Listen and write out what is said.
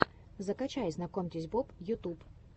закачай знакомьтесь боб ютюб